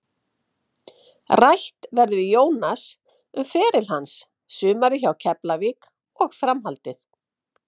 Rætt verður við Jónas um feril hans, sumarið hjá Keflavík og framhaldið.